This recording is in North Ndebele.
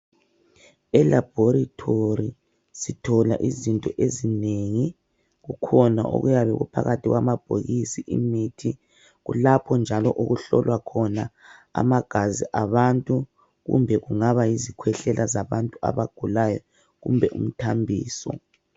E- laboratory sithola izinto ezinengi. Kukhona okuyabe kuphakathi kwamabhokisi emithi. Kulapho njalo okuhlolwa khona amagazi abantu kumbe kungana yizikhwehlela zabantu abagulayo kumbe umthambiso.